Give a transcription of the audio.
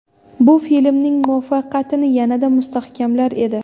Bu filmning muvaffaqiyatini yanada mustahkamlar edi.